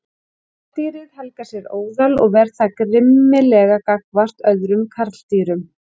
Karldýrið helgar sér óðal og ver það grimmilega gagnvart öðrum karldýrum.